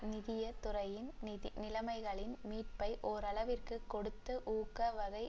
நிதிய துறையின் நிலைமைகளில் மீட்பை ஓரளவிற்கு கொடுத்த ஊக்க வகை